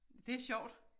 Det sjovt